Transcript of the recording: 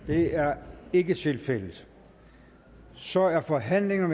det er ikke tilfældet så er forhandlingen